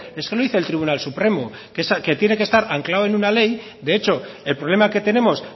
es que lo dice el tribunal supremo que tiene que estar anclado en una ley de hecho el problema que tenemos